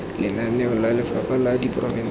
lenaneo la lefapha la diporofense